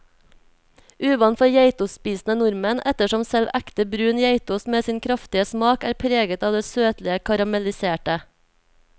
Uvant for geitostspisende nordmenn, ettersom selv ekte brun geitost med sin kraftige smak er preget av det søtlige karamelliserte.